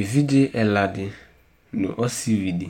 Évidjé ɛladi nu ɔsiʋidi